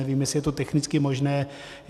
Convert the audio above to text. Nevím, jestli je to technicky možné.